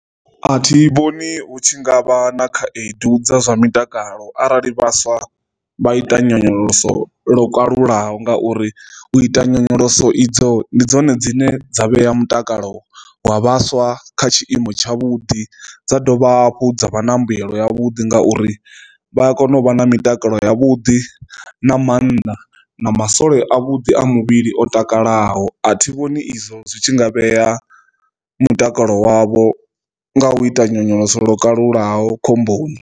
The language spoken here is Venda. A thi vhoni hu tshi ngavha na khaedu dza zwa mutakalo arali vhaswa vha ita nyonyoloso lwo kalulaho ngauri u ita nyonyoloso idzo ndi dzone dzine dza vhea mutakalo wa vhaswa kha tshiimo tsha vhudi dza dovha hafhu dza vha na mbuyelo ya vhuḓi, ngauri vha kone u vha na mitakalo ya vhuḓi nga maanḓa na masole a vhuḓi a muvhili o takalaho. A thi vhoni izwo zwi tshi nga vhea mutakalo wavho nga u ita nyonyoloso lwo kalulaho khomboni.